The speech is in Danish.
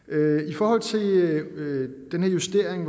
i forhold til den her justering